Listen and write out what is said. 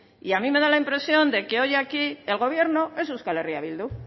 y a mí me da la impresión de que hoy aquí el gobierno es euskal herria bildu